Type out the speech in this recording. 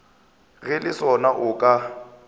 ge le sona o ka